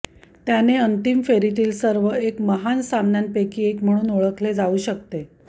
त्याने अंतिम फेरीतील सर्व एक महान सामन्यांपैकी एक म्हणून ओळखले जाऊ शकते